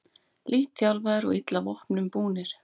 Lítt þjálfaðir og illa vopnum búnir